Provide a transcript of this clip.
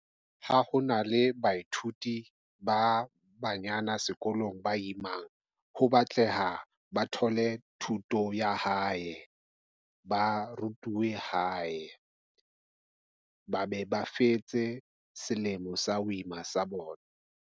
Ha ho na le baithuti ba banyana sekolong, ba imang ho batleha, ba thole thuto ya hae, ba rutuwe hae ba be ba fetse selemo sa ho ima sa bona.